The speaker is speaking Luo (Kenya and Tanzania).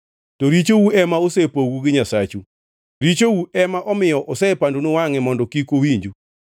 To richou ema osepogou gi Nyasachu; richou ema omiyo osepandonu wangʼe mondo kik owinju.